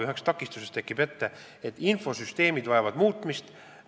Üheks takistuseks on see, et infosüsteemid vajavad muutmist.